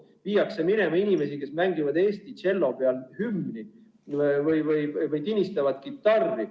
Viiakse minema inimesi, kes mängivad tšellol Eesti hümni või tinistavad kitarri.